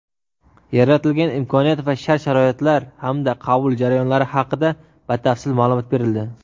yaratilgan imkoniyat va shart-sharoitlar hamda qabul jarayonlari haqida batafsil maʼlumot berildi.